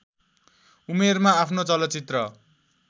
उमेरमा आफ्नो चलचित्र